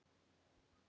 Skaut í hægra hornið.